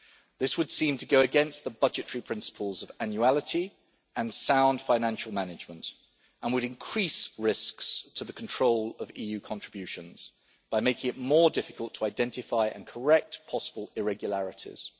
This would seem to go against the budgetary principles of annuality and sound financial management, and would increase risks to the control of EU contributions by making it more difficult to identify and correct possible irregularities.